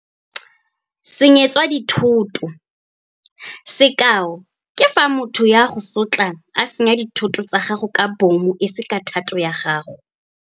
Senyetswa dithoto. Sekao ke fa motho yo a go sotlang a senya dithoto tsa gago ka bomo e se ka thato ya gago.